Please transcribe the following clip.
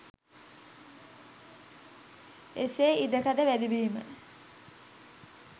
එසේ ඉඩකඩ වැඩිවීම